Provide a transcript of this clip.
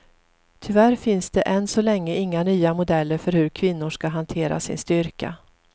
Tyvärr finns det än så länge inga nya modeller för hur kvinnor ska hantera sin styrka.